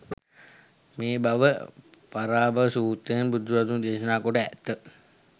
මේ බව පරාභව සූත්‍රයෙන් බුදුරදුන් දේශනා කොට ඇත.